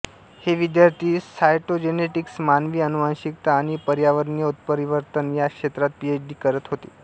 हे विद्यार्थी सायटोजेनेटिक्स मानवी अनुवांशिकता आणि पर्यावरणीय उत्परिवर्तन या क्षेत्रात पीएच डी करत होते